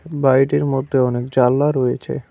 বাড়িটির মধ্যে অনেক জালনা রয়েছে।